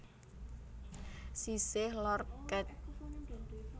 Sisih Lor Kec